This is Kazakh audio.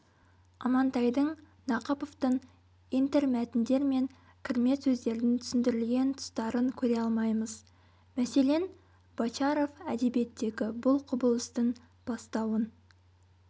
амантайдың нақыповтың интермәтіндер мен кірме сөздердің түсіндірілген тұстарын көре алмаймыз мәселен бочаров әдебиеттегі бұл құбылыстың бастауын